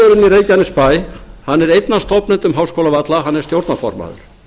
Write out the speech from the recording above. í reykjanesbær er einn af stofnendum háskólavalla hann er stjórnarformaður